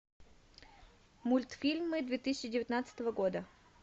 мультфильмы две тысячи девятнадцатого года